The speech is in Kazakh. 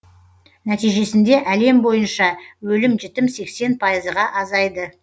нәтижесінде әлем бойынша өлім жітім сексен пайызға азайды